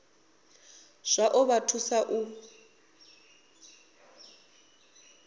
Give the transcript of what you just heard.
zwa ḓo vha thusa u